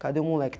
Cadê o moleque?